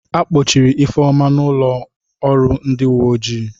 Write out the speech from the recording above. A kpọchiri Ifeoma n'ụlọọrụ ndị uwe ojii.